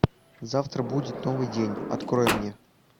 завтра будет новый день открой мне